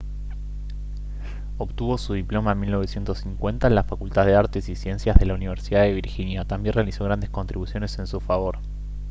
obtuvo su diploma en 1950 en la facultad de artes y ciencias de la universidad de virginia también realizó grandes contribuciones en su favor